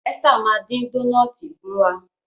Esther ma din Dónáátì fún wá.